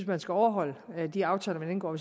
man skulle overholde de aftaler man indgår